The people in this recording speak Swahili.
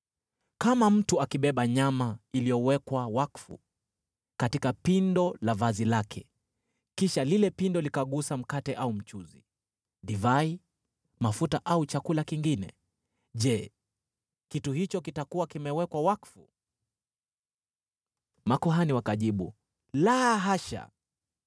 Kama mtu akibeba nyama iliyowekwa wakfu katika pindo la vazi lake, kisha lile pindo likagusa mkate au mchuzi, divai, mafuta au chakula kingine, je, kitu hicho kitakuwa kimewekwa wakfu?’ ” Makuhani wakajibu, “La hasha.”